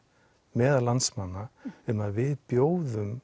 meðal landsmanna um að við bjóðum